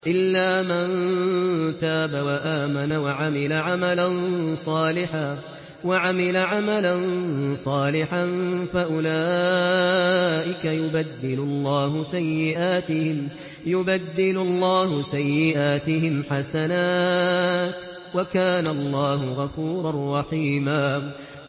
إِلَّا مَن تَابَ وَآمَنَ وَعَمِلَ عَمَلًا صَالِحًا فَأُولَٰئِكَ يُبَدِّلُ اللَّهُ سَيِّئَاتِهِمْ حَسَنَاتٍ ۗ وَكَانَ اللَّهُ غَفُورًا رَّحِيمًا